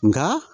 Nka